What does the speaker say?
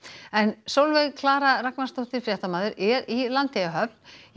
en Sólveig Klara Ragnarsdóttir fréttamaður er í Landeyjahöfn